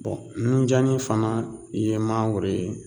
nunjannin fana ye mangoro ye